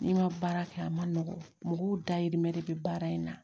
N'i ma baara kɛ a ma nɔgɔn mɔgɔw dayirimɛ de bɛ baara in na